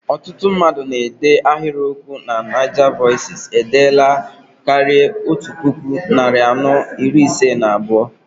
Ọtụtụ mmadụ na-ede ahiriokwu na NaijaVoices edeela karịa otú puku, narị anọ iri ise na abụọ.